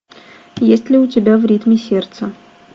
есть ли у тебя в ритме сердца